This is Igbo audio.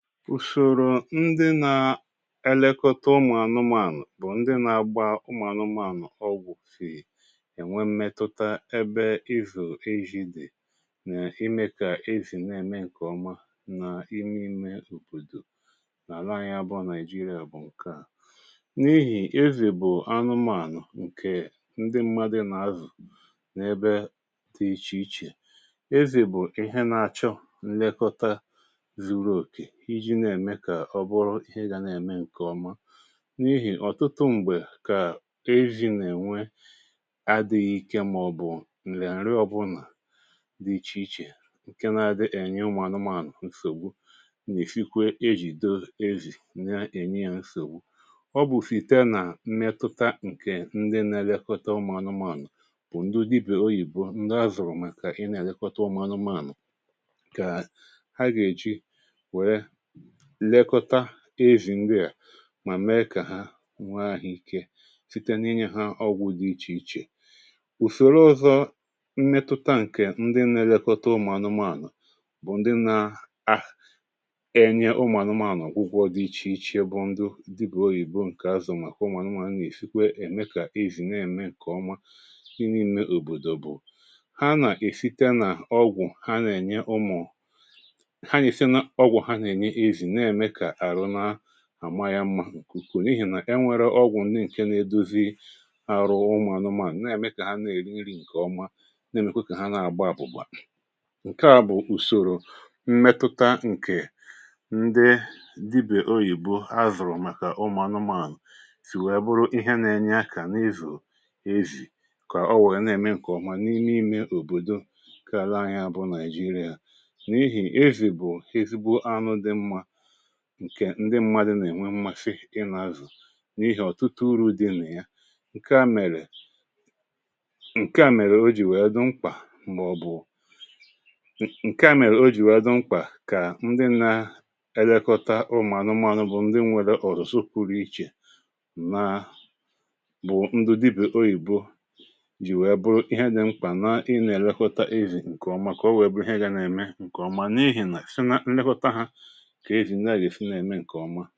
Ụsọ ụzọ ndị na-elekọta ụmụ anụmanụ bụ ndị na-agba ụmụ anụmanụ ọgwụ, si enwe mmetụta ebe izù ejì dị na ime ka ezì na-eme nke ọma n'ime obodo na ala anyị abụọ, Naịjirịa. Nke a bụ n’ihi na ezì bụ anụmanụ nke ndị mmadụ na-azụ n’ebe dị iche iche. Ezì bụ ihe na-achọ nlekọta ka ọ bụrụ ihe ga na-eme nke ọma, n’ihi na ọtụtụ mgbe, e nwere adịghị ike ma ọ bụ nri na-adịghị mma, nke na-eduga n’ịsọgbu na ihe mgbu. Ọ bụ ihe na-emetụ n’obi ma ọ bụrụ na mmetụ ahụ sitere n'aka ndị na-elekọta ụmụ anụmanụ ndị dibia oyibo ndị zụrụ maka ịlekọta anụmanụ. Ha ga-eji nka ha lekọta ezì ndị a ma mee ka ha nwee ahụ ike, site n’inye ha ọgwụ dị iche iche. Ụzọ ọzọ, mmetụta nke ndị na-elekọta ụmụ anụmanụ bụ ndị nna ha enye ha ọgwụgwọ dị iche iche bụ ndụ dibia oyibo zụrụ, nke mere na ụmụ anụmanụ na-enwe ike ime ka ezì na-eme nke ọma n'ime obodo. Ọgwụ ha na-enye ụmụ anụmanụ na-eme ka àma ya maa mma, n’ihi na e nwere ọgwụ na-eme ka arụmụka ụmụ anụmanụ dị mma, na-eme ka ha na-eri nri nke ọma, na-eme kwa ka ha na-agba ọsọ, na-ebi ndụ ka mma. Nke a bụ usoro mmetụta nke ndị dibia oyibo zụrụ maka ụmụ anụmanụ. Ọ bụ ihe na-enyere aka n’ịzụ ezì ka o wee na-eme nke ọma n'ime obodo nke ahịa anyị dị Naịjirịa. N’ihi na ezì bụ ezigbo anụ dị mkpa nke ndị mmadụ nwere mmasị ịzụ, n’ihi ọtụtụ uru dị na ya. Nke a mere, nke a mere o ji bụrụ ihe dị mkpa mgbe ọ bụ ya mere o ji dị mkpa ka ndị na-elekọta ụmụ anụmanụ bụ ndị nwere usoro ọzụzụ pụrụ iche bụrụ ndị dibia oyibo zụrụ, ka ha wee lekọta ezì nke ọma, ka o wee bụrụ na ha ga na-eme nke ọma. N’ihi na site na nlekọta ha, ọtụtụ ihe na-eme eme.